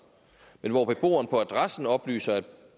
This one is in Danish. men hvor beboeren på adressen oplyser at